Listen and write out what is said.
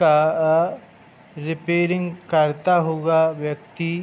repairing करता हुआ व्यक्ति --